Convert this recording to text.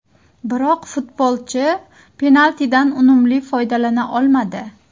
Biroq futbolchi penaltidan unumli foydalana olmadi.